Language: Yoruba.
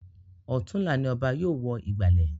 Ọ̀tunla ni Ọba yóò wọ ìgbàlẹ̀